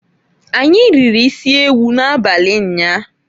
Anyi riri isiewu na-abali nyaa..